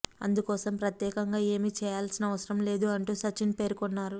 అందుకోసం ప్రత్యేకంగా ఏమీ చేయాల్సిన అవసరం లేదు అంటూ సచిన్ పేర్కొన్నారు